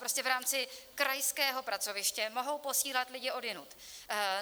Prostě v rámci krajského pracoviště mohou posílat lidi odjinud.